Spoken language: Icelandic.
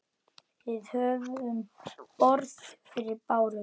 Við höfum borð fyrir báru.